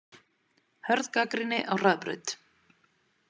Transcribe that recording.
Hörð gagnrýni á Hraðbraut